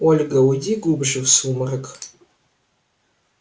ольга уйди глубже в сумрак